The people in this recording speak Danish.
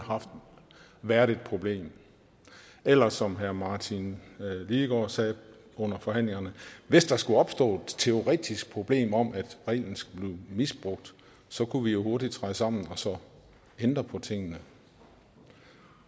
været et problem eller som herre martin lidegaard sagde under forhandlingerne hvis der skulle opstå et teoretisk problem om at reglen blev misbrugt kunne vi jo hurtigt træde sammen og så ændre på tingene